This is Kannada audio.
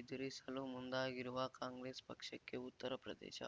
ಎದುರಿಸಲು ಮುಂದಾಗಿರುವ ಕಾಂಗ್ರೆಸ್ ಪಕ್ಷಕ್ಕೆ ಉತ್ತರ ಪ್ರದೇಶ